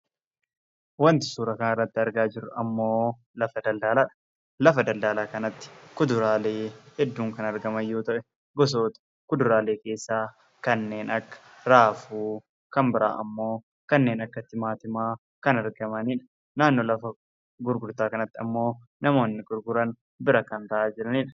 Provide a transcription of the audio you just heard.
Wanti suura kana irratti argaa jirru lafa daldalaadha. Lafa kanattis kuduraaleen hedduun kan argaman yoo ta'u, gosoota kuduraalee keessaa kanneen akka: raafuu, timaatimaa fi kanneen biroo kan argamanidha. Namoonni gurguranis bira taa'aa jiru.